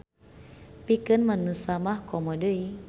Pikeun manusa mah komo deui.